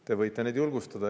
Te võite neid julgustada.